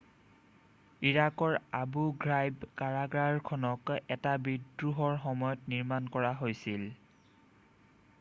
ইৰাকৰ Abu Ghraib কাৰাগাৰখনক এটা বিদ্ৰোহৰ সময়ত নিৰ্মাণ কৰা হৈছিল৷